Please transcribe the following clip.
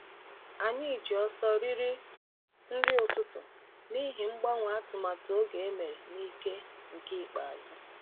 Anyị ji ọsọ riri nri ụtụtụ n’ihi mgbanwe atụmatụ oge emere n’ike nke ikpeazụ.